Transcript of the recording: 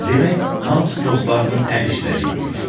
Demək, hamısı dostlarının əl işləri imiş.